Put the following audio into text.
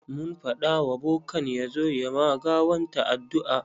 Mun faɗa wa bokan ya zo ya ma gawanta addu'a.